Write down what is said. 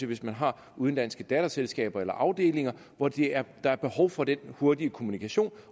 hvis man har udenlandske datterselskaber eller afdelinger hvor der er behov for den hurtige kommunikation